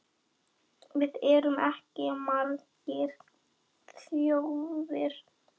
Við erum ekki margar þjóðir.